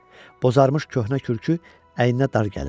Bozarmış köhnə kürkü əyninə dar gəlirdi.